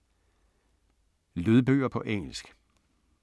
Lydbøger på engelsk